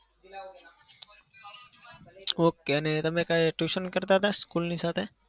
okay ને તમે કોઈ tuition કરતા હતા? school ની સાથે?